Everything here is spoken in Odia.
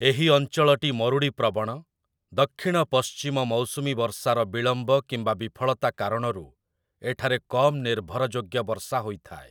ଏହି ଅଞ୍ଚଳଟି ମରୁଡ଼ି ପ୍ରବଣ, ଦକ୍ଷିଣ-ପଶ୍ଚିମ ମୌସୁମୀ ବର୍ଷାର ବିଳମ୍ବ କିମ୍ବା ବିଫଳତା କାରଣରୁ ଏଠାରେ କମ୍ ନିର୍ଭରଯୋଗ୍ୟ ବର୍ଷା ହୋଇଥାଏ ।